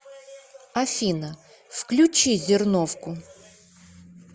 афина включи зерновку